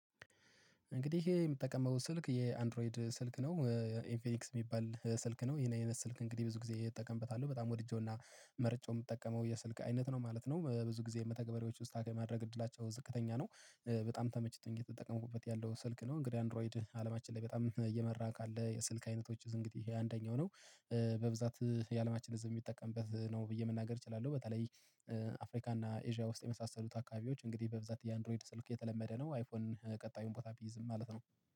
እንግዲህ የምጠቀመው ስልክ የአንድሮይድ ስልክ ነው። ኤንፊኒክስ የሚባል ስልክ ነው ይሄን የሰልክ እንግዲህ ብዙ ጊዜ እጠቀምበታለሁ በጣም ወድጄውና መርጬው የምጠቀመው የስልክ አይነት ነው ማለት ነው። ብዙ ጊዜ የመተግበሪዎቹን ስታክ የማድረግ እድላቸው ዝቅተኛ ነው። በጣም ተመችቶኝ እየተጠቀምኩበት ያለው ስልክ ነው። እንግዲህ አንድሮይድ አለማችን ላይ በጣም እየመራ ካለ የስልክ አይነቶች እንግዲህ አንደኛው ነው። በብዛት የአለማችን ህዝብ የሚጠቀምበት ነው ብዬ መናገር እችላለሁ። በተለይ አፍሪካ እና ኤዥያ ውስጥ የመሳሰሉት አካባቢዎች እንግዲህ በብዛት የአንድሮይድ ስልክ የተለመደ ነው። አይፎን ቀጣዩን ቦታ ቢይዝም ማለት ነው